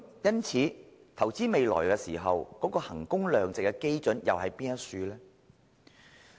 因此，在投資未來時，究竟衡工量值的基準為何？